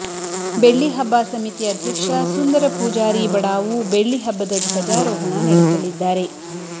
ಬೆಳ್ಳಿಹಬ್ಬ ಸಮಿತಿ ಅಧ್ಯಕ್ಷ ಸುಂದರ ಪೂಜಾರಿ ಬಡಾವು ಬೆಳ್ಳಿಹಬ್ಬದ ಧ್ವಜಾರೋಹಣ ನಡೆಸಲಿದ್ದಾರೆ